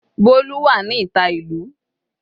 Bolu wà ní ìta ìlú.